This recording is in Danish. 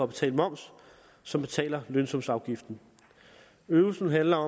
betale moms som betaler lønsumsafgiften øvelsen handler